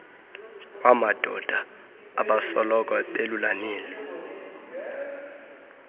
kwamadoda abasoloko belulamele